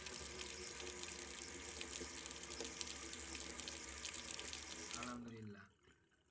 আলহামদুলিল্লাহ